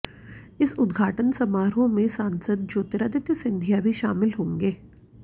इस उद्घाटन समारोह में सांसद ज्योतिरादित्य सिंधिया भी शामिल रहेंगे